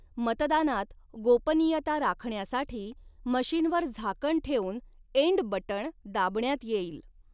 मतदानात गोपनीयता राखण्यासाठी मशिनवर झाकण ठेवून एण्ड बटण दाबण्यात येईल.